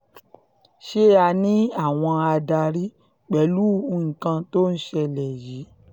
ṣé a ní àwọn adarí pẹ̀lú nǹkan tó ń ṣẹlẹ̀ yìí